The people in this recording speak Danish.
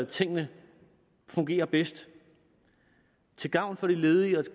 tingene fungerer bedst til gavn for de ledige og